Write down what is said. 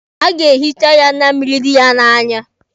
A ga-ehicha ya anya mmịrị dị ya n'anya.